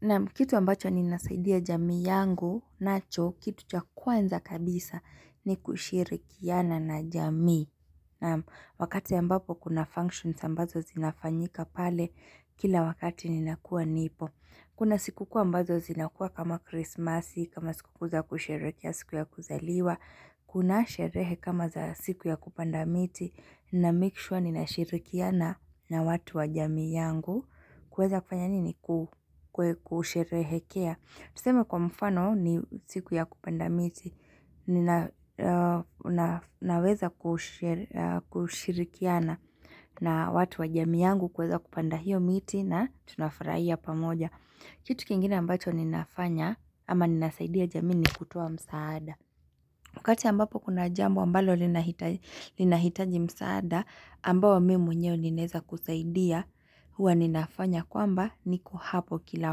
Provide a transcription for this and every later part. Naam kitu ambacho ninasaidia jamii yangu nacho, kitu cha kwanza kabisa ni kushirikiana na jamii. Naam wakati ambapo kuna functions ambazo zinafanyika pale kila wakati ninakuwa nipo. Kuna siku kuu ambazo zinakuwa kama krismasi, kama siku kuu za kusherekea siku ya kuzaliwa. Kuna sherehe kama za siku ya kupanda miti, na make sure ninashirikiana na watu wa jamii yangu. Kuweza kufanya nini ku kusherehekea Tuseme kwa mfano ni siku ya kupanda miti Nina na naweza kushiri kushirikiana na watu wa jamii yangu kuweza kupanda hiyo miti na tunafurahia pamoja Kitu kingine ambacho ninafanya ama ninasaidia jamii ni kutoa msaada Wakati ambapo kuna jambo ambalo linahitaji linahitaji msaada ambao mi mwenyewe ninaeza kusaidia huwa ninafanya kwamba niko hapo kila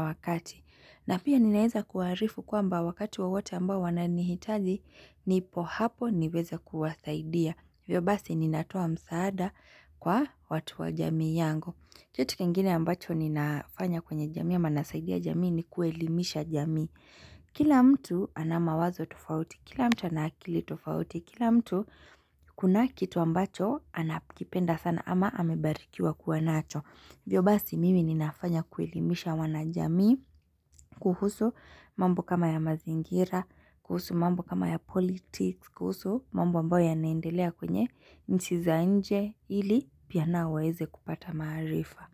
wakati. Na pia ninaeza kuwaarifu kwamba wakati wowote ambao wananihitaji nipo hapo niweze kuwasaidia. Hivyo basi ninatoa msaada kwa watu wa jamii yangu Kitu kingine ambacho ninafanya kwenye jamii ama nasaidia jamii ni kuelimisha jamii. Kila mtu ana mawazo tofauti, kila mtu ana akili tofauti, Kila mtu kunaye kitu ambacho anapikipenda sana ama amebarikiwa kuwa nacho Hivyo basi mimi ninafanya kuelimisha wanajamii kuhusu mambo kama ya mazingira, kuhusu mambo kama ya politics, kuhusu mambo ambayo yanaendelea kwenye nchi za nje ili pia nao waeze kupata maarifa.